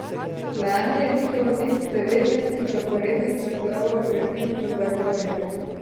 Lani je njihov niz devetnajstih zaporednih naslovov prekinilo Zagorje.